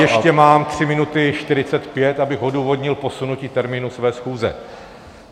Ještě mám tři minuty 45, abych odůvodnil posunutí termínu své schůze (?).